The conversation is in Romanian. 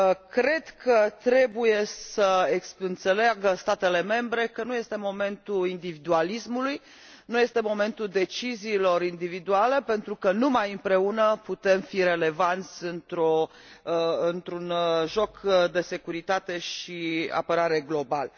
Cred că trebuie să înțeleagă statele membre că nu este momentul individualismului, nu este momentul deciziilor individuale, pentru că numai împreună putem fi relevanți într un joc de securitate și apărare global.